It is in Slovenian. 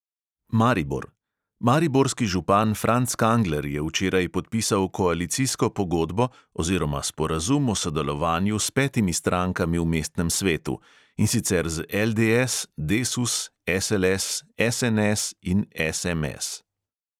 Maribor: mariborski župan franc kangler je včeraj podpisal koalicijsko pogodbo oziroma sporazum o sodelovanju s petimi strankami v mestnem svetu, in sicer z LDS, desus, SLS, SNS in SMS.